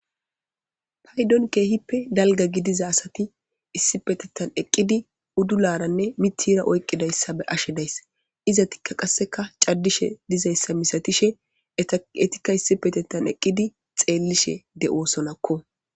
Paydon kehipe dalga gidiza asati issippetetan eqidi udularanne mitheza oyqidaysa be'ashe dayisi izetikka qasekka cadishe dizaysa misatishe etikka Issippetetan eqidi xelishe de'eosonakko